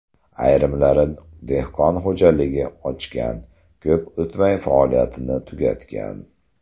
Ayrimlari dehqon xo‘jaligi ochgan, ko‘p o‘tmay faoliyatini tugatgan.